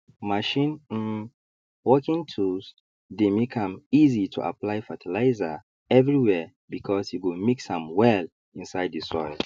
machine um working tools dey make am easy to apply fertilizer everywere because e go mix am well inside the soil